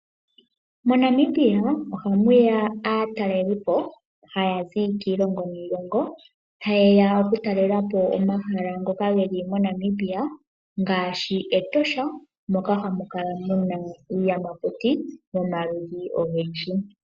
Mo Namibia ohamu ya aatalelipo haya zi kiilongo niilongo. Haye ya oku talelapo omahala ngoka geli mo Namibia, ngaashi Etosha moka hamu kala muna iiyamakuti yomaludhi ogendji.